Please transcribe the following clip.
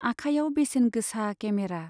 आखाइयाव बेसेन गोसा केमेरा।